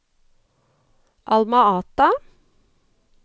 Alma Ata